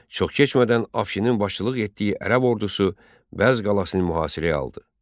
Çox keçmədən Afşinin başçılıq etdiyi ərəb ordusu Bəz qalasını mühasirəyə aldı.